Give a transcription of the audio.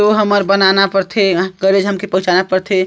येहू हमर बनाना पड़थे कई झन के करथे।